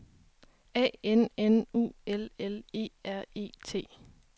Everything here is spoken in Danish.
A N N U L L E R E T